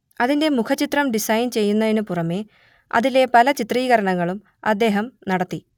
അതിന്റെ മുഖചിത്രം ഡിസൈൻ ചെയ്യുന്നതിനു പുറമേ അതിലെ പല ചിത്രീകരണങ്ങളും അദ്ദേഹം നടത്തി